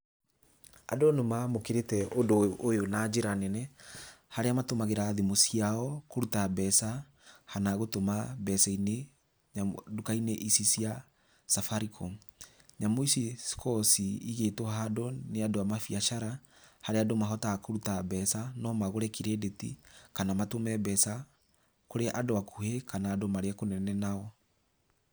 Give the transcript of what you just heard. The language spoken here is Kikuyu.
Andũ nĩ mamũkĩrĩte ũndũ ũyũ na njĩra nene, harĩa matũmagĩra thimũ ciao kũruta mbeca, kana gũtũma mbeca-inĩ, duka-inĩ ici cia Safaricom, nyamũ ici cikoragwo cigĩtwo handũ nĩ andũ a mabiacara, harĩa andũ mahotaga kũruta mbeca, no magũre kirĩndĩti, kana matũme mbeca, kũrĩ andũ akuhĩ kana marĩ kũnene nao.